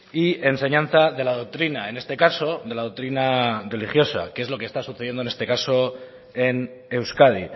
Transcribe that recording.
y enseñanza de la doctrina en este caso de la doctrina religiosa que es lo que está sucediendo en este caso en euskadi